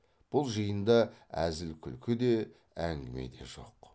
бұл жиында әзіл күлкі де әңгіме де жоқ